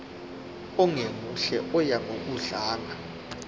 ongemuhle oya ngokudlanga